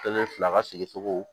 Kelen fila ka sigi cogo